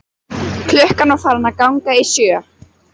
Klukkan var farin að ganga sjö.